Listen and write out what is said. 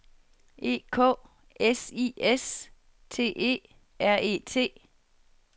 E K S I S T E R E T